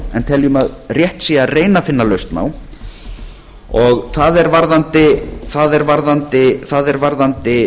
en teljum að rétt sé að reyna að finna lausn á og það er varðandi